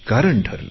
कारण ठरले